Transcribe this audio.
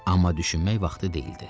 Amma düşünmək vaxtı deyildi.